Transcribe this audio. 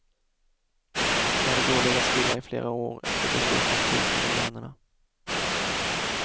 De hade då legat stilla i flera år efter beslut om frysning av lönerna.